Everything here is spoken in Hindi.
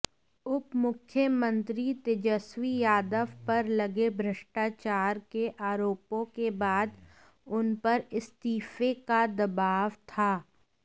उपमुख्यमंत्री तेजस्वी यादव पर लगे भ्रष्टाचार के आरोपों के बाद उनपर इस्तीफे का दबाव था